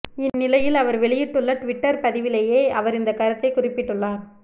இந்நிலையில் அவர் வெளியிட்டுள்ள டுவிட்டர் பதிவிலேயே அவர் இந்த கருத்தை குறிப்பிட்டுள்ளார்